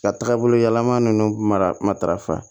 Ka taaga bolo yɛlɛma nunnu mara matarafa